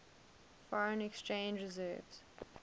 foreign exchange reserves